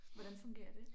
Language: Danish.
Hvordan fungerer det?